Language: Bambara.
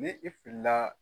Ni i filila